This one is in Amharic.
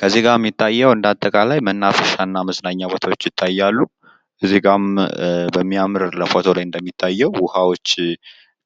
ከዚህ ጋር እሚታየዉ እንደአጠቃላይ መናፈሻ እና መዝናኛ ቦታዎች ይታያሉ። እዚህ ጋም በሚያምር ፎቶ ላይ እንደሚታየዉ ዉኃዎች